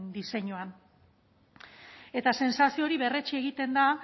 diseinuan eta sentsazio hori berretsi egiten da